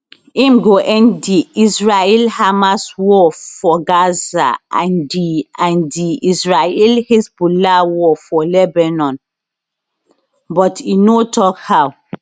im go end di israelhamas war for gaza and di and di israelhezbollah war for lebanon but e no tok how